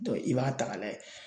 i b'a ta ka lajɛ